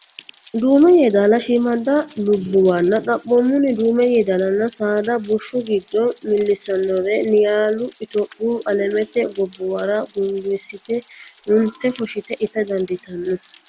Duume Yeedaala shiimmaadda lubbuwanna Xaphoomunni Duume Yeedaalanna saada bushshu giddo millissannore Niyaalu Itophiya Alamete gobbuwara guungiissite unte fushshite ita dandiitanno.